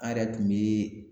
An yɛrɛ tun be